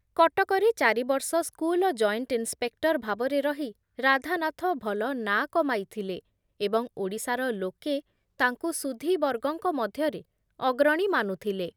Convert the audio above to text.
କଟକରେ ଚାରିବର୍ଷ school joint inspector ଭାବରେ ରହି ରାଧାନାଥ ଭଲ ନାଁ କମାଇଥିଲେ ଏବଂ ଓଡ଼ିଶାର ଲୋକେ ତାଙ୍କୁ ସୁଧୀବର୍ଗଙ୍କ ମଧ୍ୟରେ ଅଗ୍ରଣୀ ମାନୁଥିଲେ ।